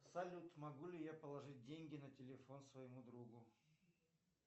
салют могу ли я положить деньги на телефон своему другу